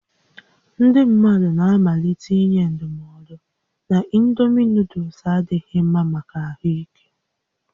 Ndị mmadụ na-amalite inye ndụmọdụ na indomi nuuduls adịghị mma maka ahụ ike